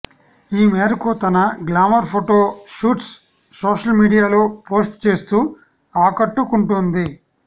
ఈ మేరకు తన గ్లామర్ ఫొటో షూట్స్ సోషల్ మీడియాలో పోస్ట్ చేస్తూ ఆకట్టుకుంటోంది